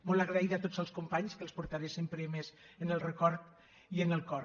molt agraïda a tots els companys que els portaré sempre més en el record i en el cor